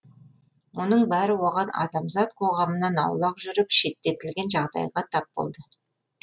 мұның бәрі оған адамзат қоғамынан аулақ жүріп шеттетілген жағдайға тап болды